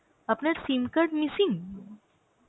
আপনার SIM card missing?